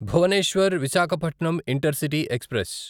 Bhubaneswar Visakhapatnam intercity express